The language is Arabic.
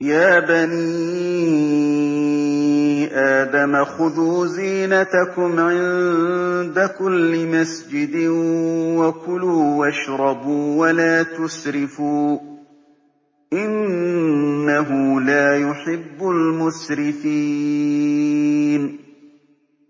۞ يَا بَنِي آدَمَ خُذُوا زِينَتَكُمْ عِندَ كُلِّ مَسْجِدٍ وَكُلُوا وَاشْرَبُوا وَلَا تُسْرِفُوا ۚ إِنَّهُ لَا يُحِبُّ الْمُسْرِفِينَ